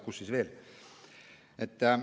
Kus siis veel?